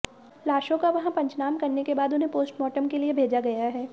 लाशों का वहां पंचनाम करने के बाद उन्हें पोस्टमार्टम के लिए भेजा गया है